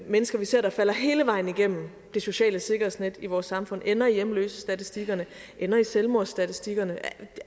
mennesker vi ser falde hele vejen igennem det sociale sikkerhedsnet i vores samfund og ende i hjemløsestatistikkerne ende i selvmordsstatistikkerne